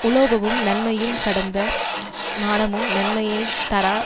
உலோபமும் நன்மையும் கடந்த மானமும் நன்மையை தாரா